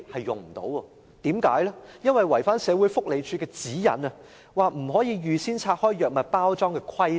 因為違反了社會福利署的指引中有關不可預先拆開藥物包裝的規定。